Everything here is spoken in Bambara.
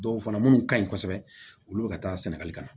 Dɔw fana minnu ka ɲi kosɛbɛ olu bɛ ka taa sɛnɛgali ka na